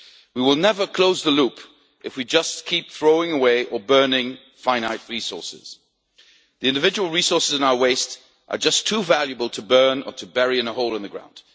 We will never close the loop if we just keep throwing away or burning finite resources. The individual resources in our waste are just too valuable to burn or to bury in a hole in the ground.